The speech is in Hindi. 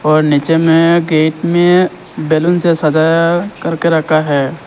और नीचे में केक में बैलून से सजाया करके रखा है।